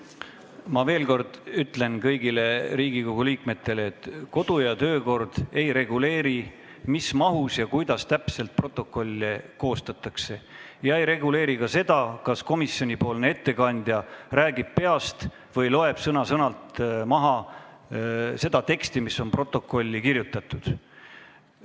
Ma veel kord ütlen kõigile Riigikogu liikmetele, et kodu- ja töökorra seadus ei reguleeri seda, millises mahus ja kuidas täpselt protokolle peab koostama, ja ei reguleeri ka seda, kas komisjonipoolne ettekandja räägib peast või loeb sõna-sõnalt maha seda teksti, mis on protokolli kirjutatud.